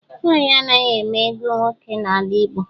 Nwanyị anaghị eme ego nwoke n'ala Igbo